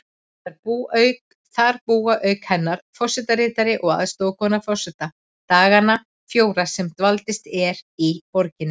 Þar búa auk hennar forsetaritari og aðstoðarkona forseta dagana fjóra sem dvalist er í borginni.